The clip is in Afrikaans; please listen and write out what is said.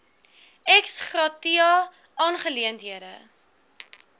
ex gratia aangeleenthede